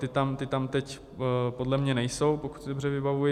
Ty tam teď podle mě nejsou, pokud si dobře vybavuji.